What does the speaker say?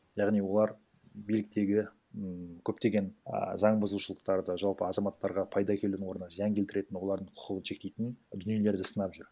яғни олар биліктегі м көптеген а заң бұзушылықтарды жалпы азаматтарға пайда әкелудің орнына зиян келтіретін олардың құқығын шектейтін дүниелерді сынап жүр